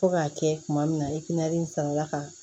Fo k'a kɛ kuma min na e kɛnɛ in sɔrɔla ka